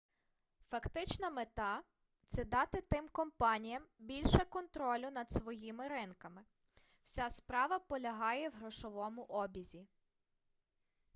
фактична мета це дати тим компаніям більше контролю над своїми ринками вся справа полягає в грошовому обізі